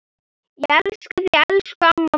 Elska þig, elsku amma mín.